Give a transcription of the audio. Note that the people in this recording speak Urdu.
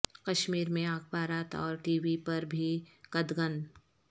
کشمیر میں اخبارات اور ٹی وی پر بھی قدغن